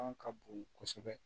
ka bon kosɛbɛ